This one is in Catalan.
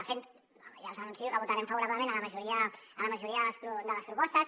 de fet ja els anuncio que votarem favorablement a la majoria de les propostes